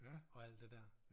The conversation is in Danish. Og alt det der